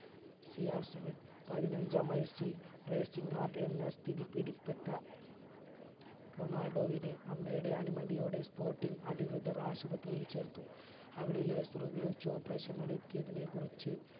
CRseven പതിനഞ്ചാം വയസിൽ raising heart എന്ന സ്ഥിതി പിടിപെട്ട റൊണാൾഡോവിന് അമ്മയുടെ അനുമതിയോടെ sporting അധികൃതർ ആശുപത്രിയിൽ ചേർത്തു അവിടെ laser ഉപയോഗിച്ചു operation നടത്തിയതിനെ കുറച്